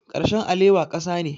Karshen alewa ƙasa ne.